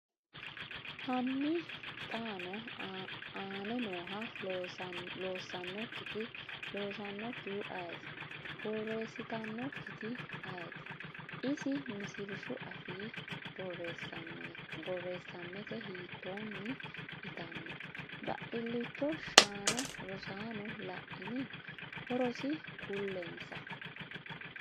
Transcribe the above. Hanni xaano aane nooha, loossannonketi/loosannonkehu ayeeti? borreessitannonketi ayeeti? Isi Misilshu afii, borreessammete hiittonni itanno? baadilcho shaana Rosaano laini? hoorosi kulinsa.